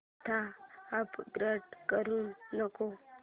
आता अपग्रेड करू नको